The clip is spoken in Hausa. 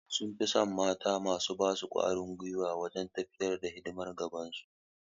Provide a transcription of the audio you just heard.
Mazaje sun fi son mata masu ba su karfin gwiwa wajen tafiyar da hidiman gida